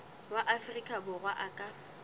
wa afrika borwa a ka